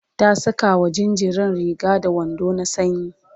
ta Saka wa jinjirin Riga da wando na sanyi